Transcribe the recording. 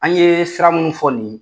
An ye sira minnu fɔ nin ye